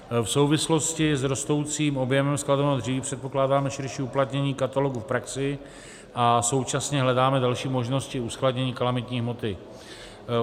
V souvislosti s rostoucím objemem skladovaného dříví předpokládáme širší uplatnění katalogu v praxi a současně hledáme další možnosti uskladnění kalamitní hmoty.